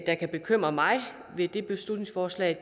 der kan bekymre mig ved det beslutningsforslag